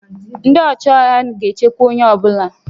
Ndị ọchịagha ga-echekwa onye ọ bụla